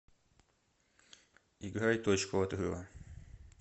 играй точку отрыва